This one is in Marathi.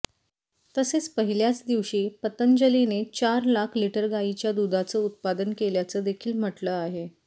तसेच पहिल्याच दिवशी पतंजलीने चार लाख लिटर गायीच्या दुधाचं उत्पादन केल्याचं देखील म्हटलं आहे